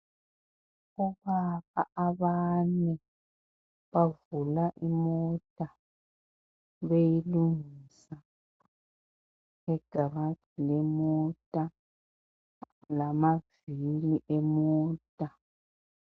Obaba abane bavula imota beyilungisa egarage lemota lamavili emota.